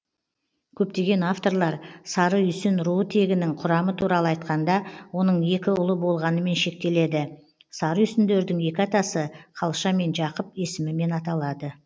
көптеген авторлар сарыүйсін руы тегінің құрамы туралы айтқанда оның екі ұлы болғанымен шектеледі сарыүйсіндердің екі атасы қалша мен жақып есімімен аталады